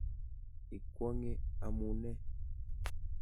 Ikwong'e amune?